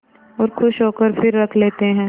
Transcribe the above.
और खुश होकर फिर रख लेते हैं